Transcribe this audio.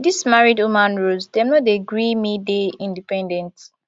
dese married woman roles dem no dey gree me dey independent